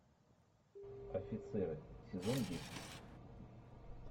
офицеры сезон десять